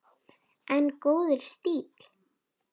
En góður stíll!